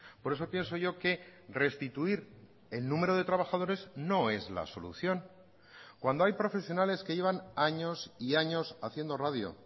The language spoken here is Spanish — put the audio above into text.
por eso pienso yo que restituir el número de trabajadores no es la solución cuando hay profesionales que llevan años y años haciendo radio